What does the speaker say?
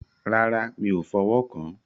Rárá, mi o fọ̀wọ́ kán.